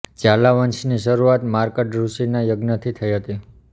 ઝાલા વંશની શરૂઆત માર્કંડ ઋષીના યજ્ઞથી થઈ હતી